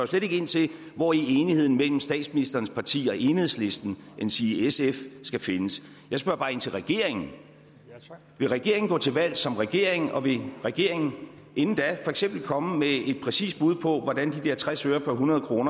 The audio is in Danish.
slet ikke ind til hvor enigheden mellem statsministerens parti og enhedslisten endsige sf skal findes jeg spørger bare ind til regeringen vil regeringen gå til valg som regering og vil regeringen inden da for eksempel komme med et præcist bud på hvordan de der tres øre per hundrede kr